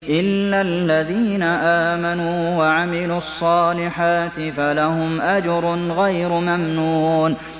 إِلَّا الَّذِينَ آمَنُوا وَعَمِلُوا الصَّالِحَاتِ فَلَهُمْ أَجْرٌ غَيْرُ مَمْنُونٍ